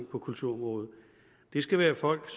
på kulturområdet det skal være folk